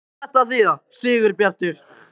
HVAÐ Á ÞETTA AÐ ÞÝÐA, SIGURBJARTUR?